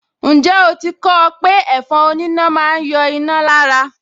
Ǹjẹ́ o ti kọ ọ́ pé ẹ̀fọn oníná máa ń yọ iná lára